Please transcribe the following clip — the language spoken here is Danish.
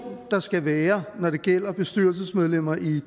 der skal være når det gælder bestyrelsesmedlemmer i